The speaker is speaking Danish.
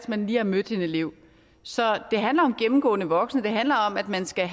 man lige har mødt en elev så det handler om gennemgående voksne det handler om at man skal